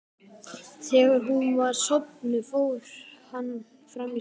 Þegar hún var sofnuð fór hann fram í stofu.